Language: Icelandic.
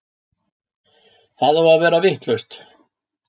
Það á að vera vitlaust!